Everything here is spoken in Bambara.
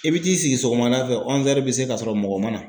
I bi t'i sigi sɔgɔmada fɛ bɛ se ka sɔrɔ mɔgɔ man na.